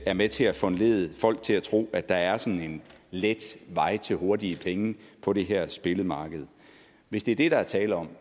er med til at foranledige folk til at tro at der er sådan en let vej til hurtige penge på det her spillemarked hvis det er det der er tale om